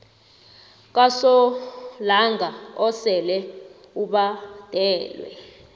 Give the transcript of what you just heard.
kasolanga osele ubhadelwe